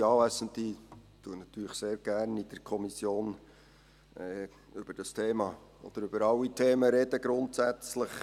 Ich spreche natürlich gerne in der Kommission über dieses Thema oder über alle Themen grundsätzlich.